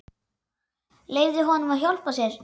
Leyfðu honum að hjálpa þér.